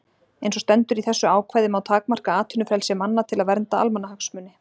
Eins og stendur í þessu ákvæði má takmarka atvinnufrelsi manna til að vernda almannahagsmuni.